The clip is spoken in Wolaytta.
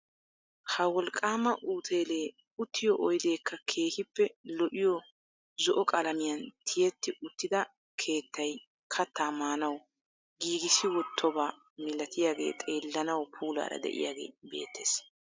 Ha wolqqaama uuteelee uttiyo oydeekka keehippe lo"iyo zo"o qalamiyan tiyetti uttida keettay kattaa maanawu giigissi wottoba milatiyagee xeellanawu puulaara de'iyagee beettees.